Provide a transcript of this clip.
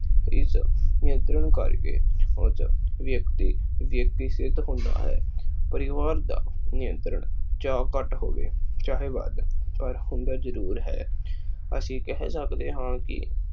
ਨਿਯੰਤਰਣ ਕਰਕੇ ਖੁਦ ਵਿਅਕਤੀ ਸਿੱਧ ਹੁੰਦਾ ਹੈ। ਪਰਿਵਾਰ ਦਾ ਨਿਯੰਤਰਣ ਚ ਘੱਟ ਹੋਵੇ ਚਾਹੇ ਵੱਧ ਪਰ ਹੁੰਦਾ ਜਰੂਰ ਹੈ। ਅਸੀਂ ਕਹਿ ਸਕਦੇ ਹਾਂ ਕੇ